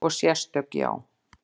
Og sérstök, já.